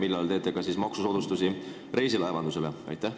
Millal te hakkate tegema maksusoodustusi reisilaevandusele?